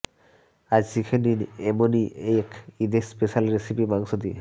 আজ শিখে নিন এমনই এক ইদ স্পেশ্যাল রেসিপি মাংস দিয়ে